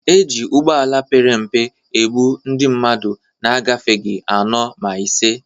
E ji ụgbọala pere mpe ebu ndị mmadụ na-agafeghị anọ ma ise.